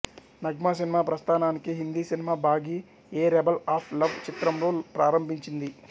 Nagma cinema ప్రస్థానాన్ని Hindi cinema Baaghi a rebel of love చిత్రంతో ప్రారంభించింది